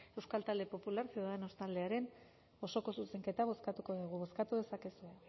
euskal talde popular ciudadanos taldearen osoko zuzenketa bozkatuko dugu bozkatu dezakegu